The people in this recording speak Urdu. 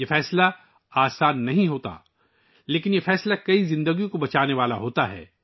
یہ فیصلہ آسان نہیں، لیکن یہ فیصلہ کئی زندگیاں بچانے والا ہے